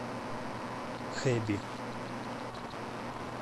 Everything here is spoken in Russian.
хэби